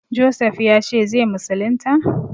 Josef ya ce zai musulunta?